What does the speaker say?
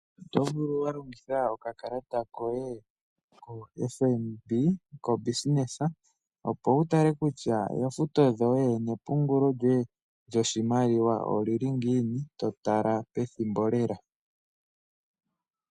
Otovulu walongitha okakalata koye koFNB kongeshefa opo wutale kutya oofuto dhoye nepungulo lyoye lyoshimaliwa oli li ngiini totala pethimbo lela.